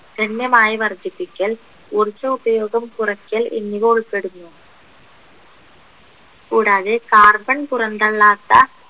ഗണ്യമായി വർധിപ്പിക്കൽ ഊർജ ഉപയോഗം കുറയ്ക്കൽ എന്നിവ ഉൾപ്പെടുന്നു കൂടാതെ carbon പുറന്തള്ളാത്ത